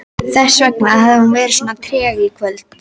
Þessvegna hafði hún verið svo treg í kvöld.